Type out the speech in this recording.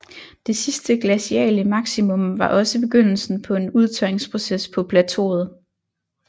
Det sidste glaciale maximum var også begyndelsen på en udtørringsproces på plateauet